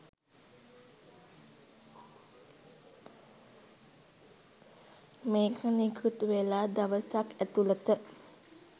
මේක නිකුත්වෙලා දවසක් ඇතුලත